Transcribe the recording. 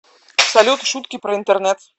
салют шутки про интернет